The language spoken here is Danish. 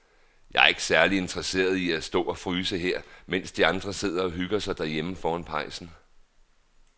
Jeg er ikke særlig interesseret i at stå og fryse her, mens de andre sidder og hygger sig derhjemme foran pejsen.